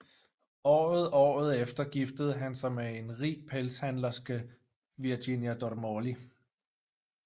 Året året efter giftede han sig med en rig pelshandlerske Virginia Dormoli